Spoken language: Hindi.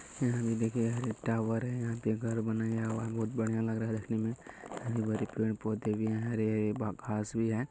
यहाँ पे देखिये एक टॉवर है यहाँ पे घर बनाया गया है बहुत बढ़ियां लग रहा है देखने में| हरे - भरे पेड़-पौधे भी हैं हरे -हरे घास भी हैं।